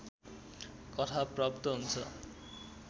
कथा प्राप्त हुन्छ